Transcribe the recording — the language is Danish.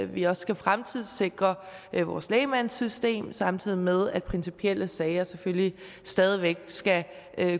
vi også skal fremtidssikre vores lægmandssystem samtidig med at principielle sager selvfølgelig stadig væk skal